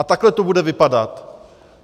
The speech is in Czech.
A takhle to bude vypadat.